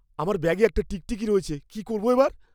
আমার ব্যাগে একটা টিকটিকি রয়েছে। কি করবো এবার?